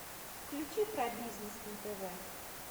включи про бизнес на тв